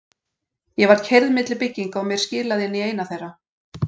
Ég var keyrð milli bygginga og mér skilað inn í eina þeirra.